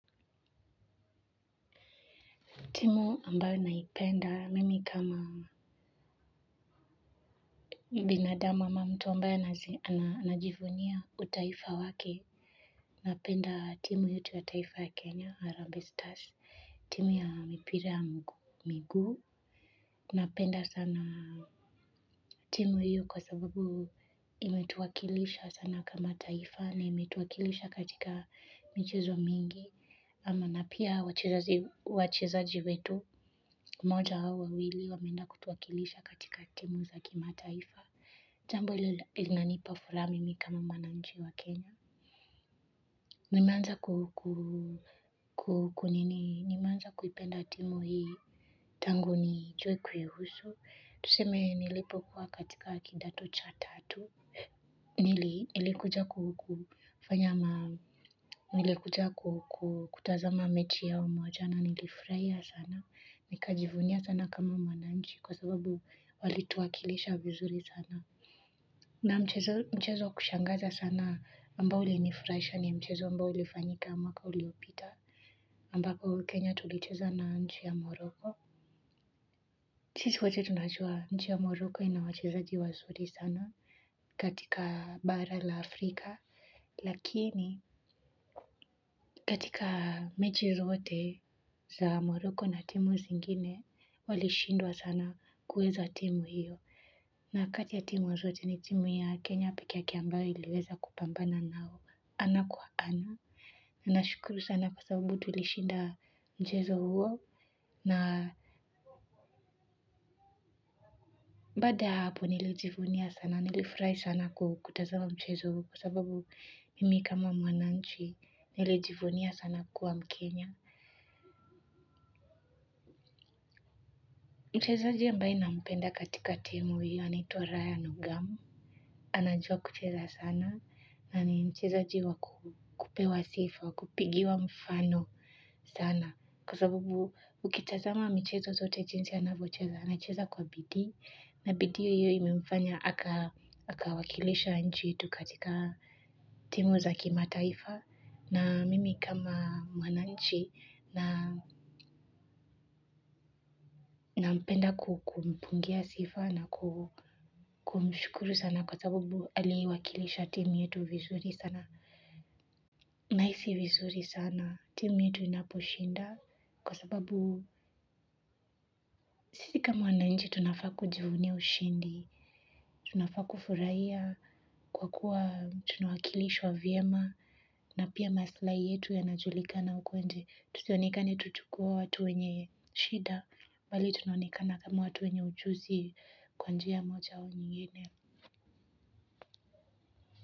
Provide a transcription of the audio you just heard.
Timu ambayo naipenda, mimi kama binadamu ama mtu ambayo anajivunia utaifa wake, napenda timu yetu ya taifa ya Kenya, Harambee Stars, timu ya mipira ya miguu, napenda sana timu hiyo kwa sabubu imetuwakilisha sana kama taifa ni imetuwakilisha katika michezo mingi, ama na pia wachezaji wetu mmoja au wawili wameenda kutuwakilisha katika timu za kimataifa jambo hilo linanipa furaha mimi kama mwananchi wa Kenya. Nimeanza kuipenda timu hii tangu nijue kuihusu tuseme nilipo kuwa katika kidato cha tatu nili kuja kutazama mechi yao moja na nilifurahia sana, nikajivunia sana kama mwananchi kwa sababu wali tuwakilisha vizuri sana. Na mchezo wa kushangaza sana ambao ulinifurahisha ni mchezo ambao ulifanyika mwaka uliopita. Ambako Kenya tulicheza na nchi ya Morocco. Sisi wote tunajua, nchi ya Morocco ina wachezaji wazuri sana katika bara la Afrika. Lakini katika mechi zote za Morocco na timu zingine walishindwa sana kuweza timu hiyo na kati ya timu zote ni timu ya Kenya pekee yake ambayo iliweza kupambana nao ana kwa ana nashukuru sana kwa sababu tuliweza kushinda mchezo huo na baada ya hapo nilijivunia sana nilifurahi sana kutazama mchezo huo kwa sababu mimi kama mwananchi nilijivunia sana kuwa mkenya mchezaji ambaye nampenda katika timu hiyo anaituwa Ryan Ogamu, anajua kucheza sana na ni mchezaji wa kupewa sifa, kupigiwa mfano sana kwa sababu ukitazama michezo zote jinsi anavyocheza, anacheza kwa bidii na bidii hiyo imemfanya akawakilisha nchi yetu katika timu za kimataifa na mimi kama mwananchi nampenda kukumpungia sifa na kumshukuru sana kwa sababu aliwakilisha timu yetu vizuri sana. Nahisi vizuri sana timu yetu inaposhinda kwa sababu sisi kama wananchi tunafaa kujivunia ushindi. Tunafaa kufurahia kwa kuwa tunawakilishwa vyema na pia maslahi yetu yanajulikana huko nje. Tusionekane tu tukiwa watu wenye shida bali tunaonekana kama watu wenye ujuzi kwa njia moja au nyingine.